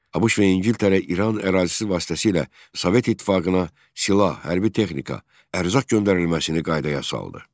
ABŞ və İngiltərə İran ərazisi vasitəsilə Sovet İttifaqına silah, hərbi texnika, ərzaq göndərilməsini qaydaya saldı.